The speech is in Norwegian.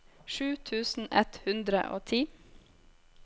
sju tusen ett hundre og ti